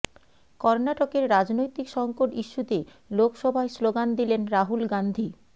কর্নাটকের রাজনৈতিক সংকট ইস্যুতে লোকসভায় স্লোগান দিলেন রাহুল গাঁধী